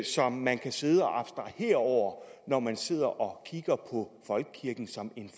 som man kan sidde og abstrahere over når man sidder og kigger på folkekirken som en